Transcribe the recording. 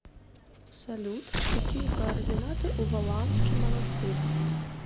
салют какие координаты у валаамский монастырь